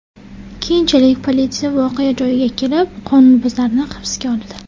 Keyinchalik politsiya voqea joyiga kelib, qonunbuzarni hibsga oldi.